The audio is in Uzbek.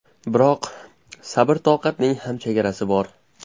Biroq sabr-toqatning ham chegarasi bor.